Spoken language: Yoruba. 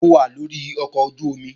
Mo wà lórí ọkọ̀ ojú-omi